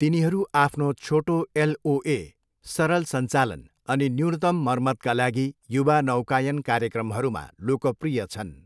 तिनीहरू आफ्नो छोटो एलओए, सरल सञ्चालन अनि न्यूनतम मर्मतका लागि युवा नौकायन कार्यक्रमहरूमा लोकप्रिय छन्।